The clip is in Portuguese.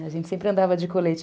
A gente sempre andava de colete.